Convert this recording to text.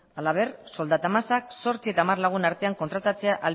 halaber soldata masak zortzi eta hamar lagun artean kontratatzea